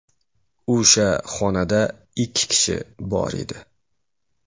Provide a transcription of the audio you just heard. O‘sha xonada ikki kishi bor edi.